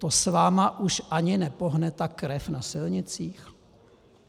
To s vámi už ani nepohne ta krev na silnicích?